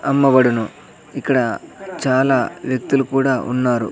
అమ్మబడును ఇక్కడ చాలా వ్యక్తులు కూడా ఉన్నారు.